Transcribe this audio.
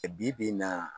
Bi bi in na